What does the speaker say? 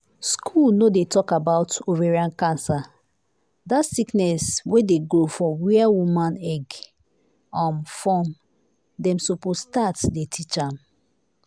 school no dey too talk about ovarian cancer dat sickness wey dey grow for whia woman um egg dey form dem supose start dey teach am.